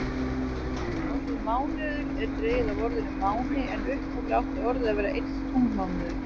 Orðið mánuður er dregið af orðinu máni en upphaflega átti orðið við einn tunglmánuð.